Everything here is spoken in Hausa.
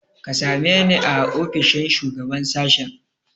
Ka same ni a ofishin shugaban sashen.